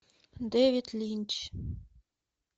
дэвид линч